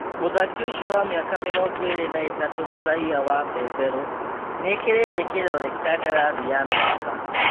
Mũthaki ũcio wa mĩaka mĩrongoĩrĩ na ĩtatu mũraiya wa Mbemberu nĩekĩrĩte kĩrore kandarathi ya mĩaka.